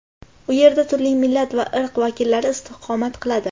U yerda turli millat va irq vakillari istiqomat qiladi.